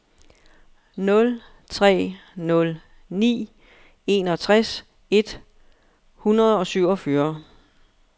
nul tre nul ni enogtres et hundrede og syvogfyrre